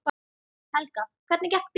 Helga: Hvernig gekk biðin?